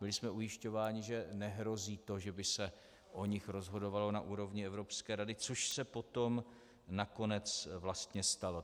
Byli jsme ujišťováni, že nehrozí to, že by se o nich rozhodovalo na úrovni Evropské rady, což se potom nakonec vlastně stalo.